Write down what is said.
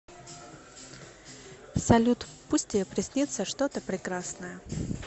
салют пусть тебе приснится что то прекрасное